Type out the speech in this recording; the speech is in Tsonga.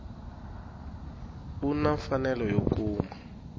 u na mfanelo yo kuma